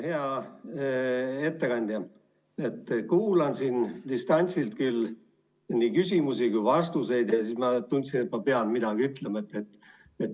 Hea ettekandja, ma kuulasin siin, distantsilt küll, nii küsimusi kui ka vastuseid, ja ma tundsin, et ma pean midagi ütlema.